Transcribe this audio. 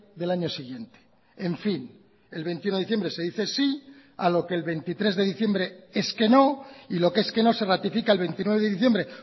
del año siguiente en fin el veintiuno de diciembre se dice sí a lo que el veintitrés de diciembre es que no y lo que es que no se ratifica el veintinueve de diciembre